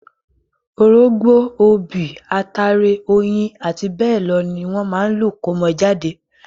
Orógbó, obì, ataare, oyin, àti bẹ́ẹ̀ lọ ní wọ́n máa lò kómọ jáde.